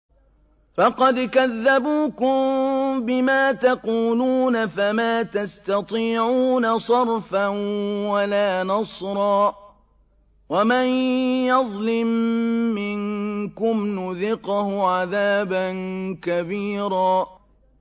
فَقَدْ كَذَّبُوكُم بِمَا تَقُولُونَ فَمَا تَسْتَطِيعُونَ صَرْفًا وَلَا نَصْرًا ۚ وَمَن يَظْلِم مِّنكُمْ نُذِقْهُ عَذَابًا كَبِيرًا